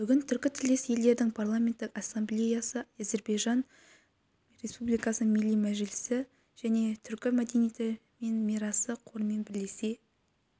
бүгін түркітілдес елдердің парламенттік ассамблеясы әзербайжан республикасы милли мәжлисі және түркі мәдениеті мен мирасы қорымен бірлесе